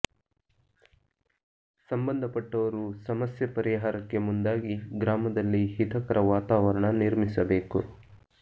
ಸಂಬಂಧಪಟ್ಟವರು ಸಮಸ್ಯೆ ಪರಿಹಾರಕ್ಕೆ ಮುಂದಾಗಿ ಗ್ರಾಮದಲ್ಲಿ ಹಿತಕರ ವಾತಾವರಣ ನಿರ್ಮಿಸಬೇಕು